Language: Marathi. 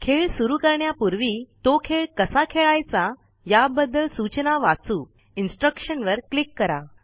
खेळ सुरु करण्यापूर्वी तो खेळ कसा खेळायचा याबद्दल सूचना वाचू Instruction वर क्लिक करा